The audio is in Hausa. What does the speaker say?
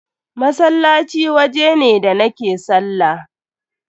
Masallaci waje ne da nake sallah.